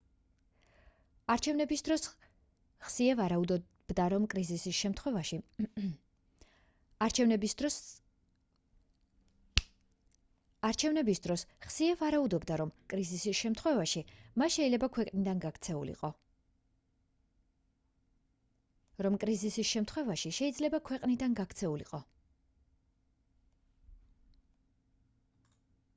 არჩევნების დროს ხსიე ვარაუდობდა რომ კრიზისის შემთხვევაში მა შეიძლება ქვეყნიდან გაქცეულიყო